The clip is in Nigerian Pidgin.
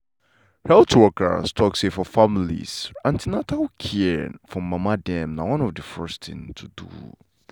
health workers talk say for families an ten atal care for mama dem na one of the first thing to do.